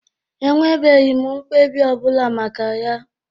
Enwebeghi m mkpebi ọbụla maka ya.